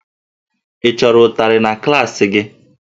Ị chọrọ ụtarị na klaasị gị?